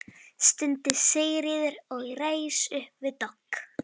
stundi Sigríður og reis upp við dogg.